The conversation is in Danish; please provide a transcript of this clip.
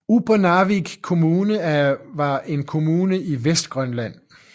Upernavik Kommune var en kommune i Vestgrønland